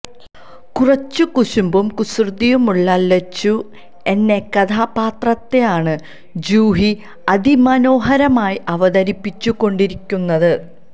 കുറച്ച് കുശുമ്പും കുസൃതിയുമുള്ള ലച്ചു എന്ന കഥാപാത്രത്തെയാണ് ജൂഹി അതിമനോഹരമായി അവതരിപ്പിച്ചു കൊണ്ടിരിക്കുന്നത്